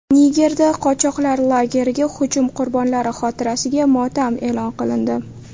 Nigerda qochoqlar lageriga hujum qurbonlari xotirasiga motam e’lon qilindi.